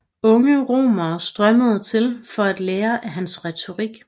Unge romere strømmede til for at lære af hans retorik